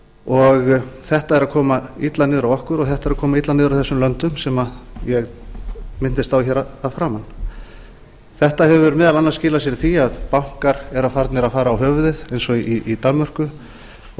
í það minnsta þetta er að koma illa niður á okkur og þetta er að koma illa niður á þessum löndum sem ég minntist á að framan þetta hefur meðal annars skilað sér í því að bankar eru farnir að fara á höfuðið eins og í danmörku og